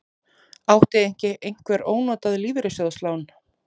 Átti ekki einhver ónotað lífeyrissjóðslán?